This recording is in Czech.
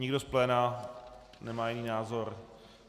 Nikdo z pléna nemá jiný názor?